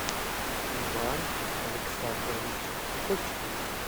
иван александрович кочкин